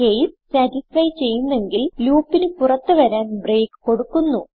case satisfy ചെയ്യുന്നെങ്കിൽ ലൂപ്പിന് പുറത്ത് വരാൻ ബ്രേക്ക് കൊടുക്കുന്നു